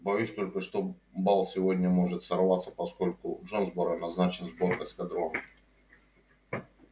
боюсь только что бал сегодня может сорваться поскольку в джонсборо назначен сбор эскадрона